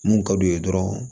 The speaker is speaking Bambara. Mun ka d'u ye dɔrɔn